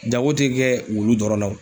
Jago te kɛ wulu dɔrɔn na.